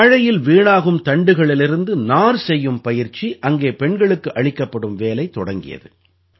வாழையில் வீணாகும் தண்டுகளிலிருந்து நார் தயார் செய்யும் பயிற்சி அங்கே பெண்களுக்கு அளிக்கப்படும் வேலை தொடங்கியது